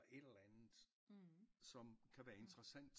Et eller andet som kan være interessant